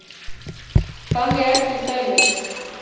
Þannig er til dæmis